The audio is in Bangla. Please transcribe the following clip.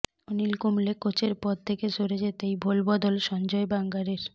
অনিল কুম্বলে কোচের পদ থেকে সরে যেতেই ভোলবদল সঞ্জয় বাঙ্গারের